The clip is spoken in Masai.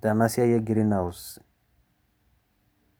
tena siai e greenhouse